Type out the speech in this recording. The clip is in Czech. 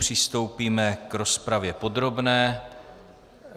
Přistoupíme k rozpravě podrobné.